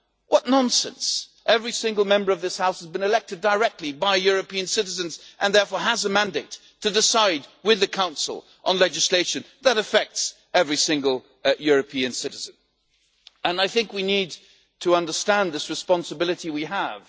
What nonsense every single Member of this House has been elected directly by European citizens and therefore has a mandate to decide with the Council on legislation that affects every single European citizen, and I think we need to understand this responsibility we have.